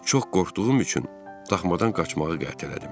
Çox qorxduğum üçün daxmadan qaçmağı qətlədim.